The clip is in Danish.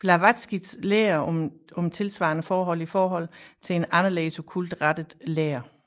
Blavatskys lære om tilsvarende forhold i forhold til en anderledes okkult rettet lære